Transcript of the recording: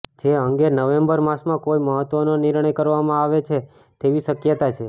જે અંગે નવેમ્બર માસમાં કોઈ મહત્ત્વનો નિર્ણય કરવામાં આવે તેવી શકયતા છે